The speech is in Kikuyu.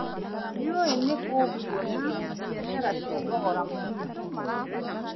Ndiũĩ nĩ kũ nguona biacara cia thogora mũnini.